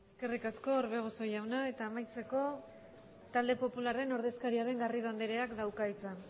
eskerrik asko orbegozo jauna eta amaitzeko talde popularraren ordezkaria den garrido andreak dauka hitza